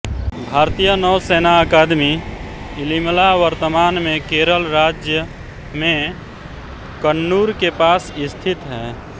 भारतीय नौसेना अकादमी इलिमला वर्तमान में केरल राज्य में कन्नूर के पास स्थित है